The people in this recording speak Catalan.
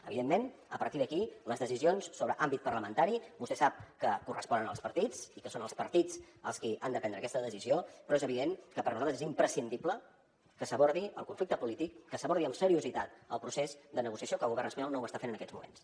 evidentment a partir d’aquí les decisions sobre àmbit parlamentari vostè sap que corresponen als partits i que són els partits els qui han de prendre aquesta decisió però és evident que per a nosaltres és imprescindible que s’abordi el conflicte polític que s’abordi amb seriositat el procés de negociació que el govern espanyol no ho està fent en aquests moments